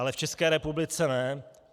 Ale v České republice ne.